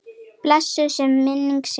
Blessuð sé minning Sifjar.